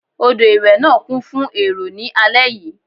Odò ìwẹ̀ náà kún fún èrò ní alẹ́ yìí.